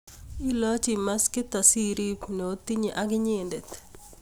ilochi maskit asiriib ne otinye ak inyende